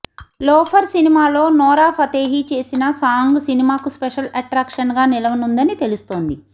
loafer సినిమాలో Nora Fatehi చేసిన song సినిమాకు స్పెషల్ అట్రాక్షన్గా నిలవనుందని తెలుస్తోంది